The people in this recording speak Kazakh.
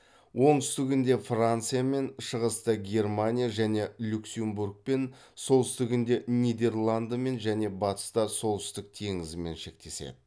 оңтүстігінде франциямен шығыста германия және люксембургмен солтүстігінде нидерландмен және бастыста солтүстік теңізімен шектеседі